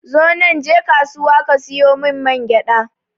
Zonan je kasuwa ka siyo mun mangyaɗa